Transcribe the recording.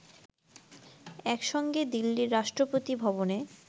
একসঙ্গে দিল্লির রাষ্ট্রপতি ভবনে